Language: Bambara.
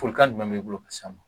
Folikan jumɛn b'i bolo ka s'a ma